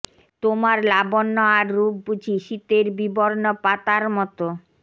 তোমার লাবণ্য আর রূপ বুঝি শীতের বিবর্ণ পাতা মতো